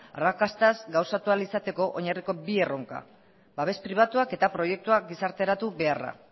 arrakastaz gauzatu ahal izateko oinarrizko bi erronka babes pribatuak eta proiektuak gizarteratu beharra